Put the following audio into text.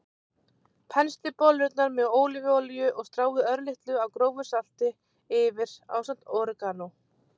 Penslið bollurnar með ólívuolíu og stráið örlitlu af grófu salti yfir ásamt óreganó.